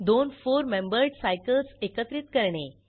दोन four membered cycles एकत्रित करणे